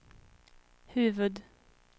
huvud-